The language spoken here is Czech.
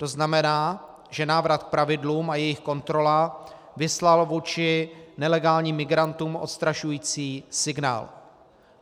To znamená, že návrat k pravidlům a jejich kontrola vyslaly vůči nelegálním migrantům odstrašující signál.